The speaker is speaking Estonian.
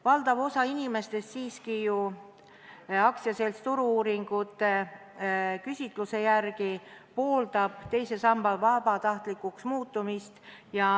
Valdav osa inimestest siiski ju Turu-uuringute AS-i küsitluse järgi pooldab teise samba vabatahtlikuks muutmist.